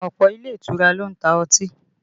Ọ̀pọ̀ ilé ìtura ló ń ta ọtí